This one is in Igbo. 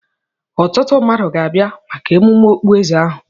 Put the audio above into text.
Ọtụtụ mmadụ ga-abịa maka emume okpueze ahụ.